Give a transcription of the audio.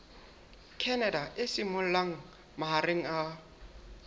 canada e simollang mahareng a